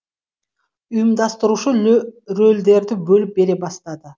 ұйымдастырушы рөлдерді бөліп бере бастады